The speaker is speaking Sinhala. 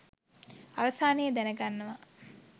අවසානයේ දැනගන්නවා